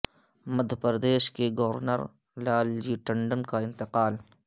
مدھیہ پردیش کے گورنر لال جی ٹنڈن کا انتقال